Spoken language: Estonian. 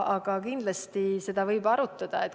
Aga kindlasti võib seda arutada.